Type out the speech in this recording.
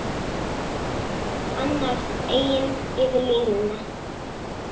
Annars eigin yfir línuna.